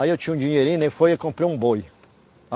Aí eu tinha um dinheirinho, né, foi aí comprei um boi.